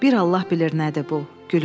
Bir Allah bilir nədir bu.